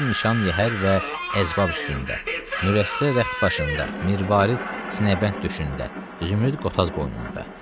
Cəvahir nişan yəhər və əzbab üstündə, mürəssə rəxdbaşında, mirvarid sinəbənd döşündə, zümrüd qotaz boynunda.